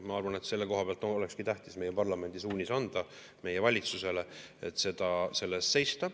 Ma arvan, et selle koha pealt olekski tähtis anda meie valitsusele meie parlamendi suunis, et selle eest tuleb seista.